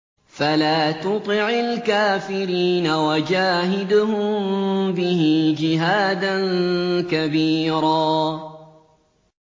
فَلَا تُطِعِ الْكَافِرِينَ وَجَاهِدْهُم بِهِ جِهَادًا كَبِيرًا